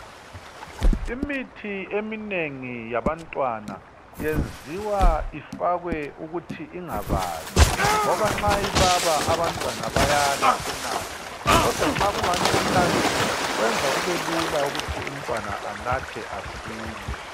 Imithi eminengi yabantwana yenziwa ifakwe ukuthi ingababi ngoba nxa ibaba abantwana bayala ukunatha, kodwa nxa kungani kumnandi, kwenza kube lula ukuthi umntwana anathe asile.